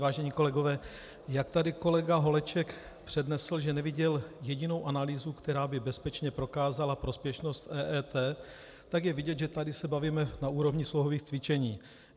Vážení kolegové, jak tady kolega Holeček přednesl, že neviděl jedinou analýzu, která by bezpečně prokázala prospěšnost EET, tak je vidět, že tady se bavíme na úrovni slohových cvičení.